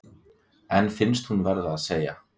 En finnst hún verða að segja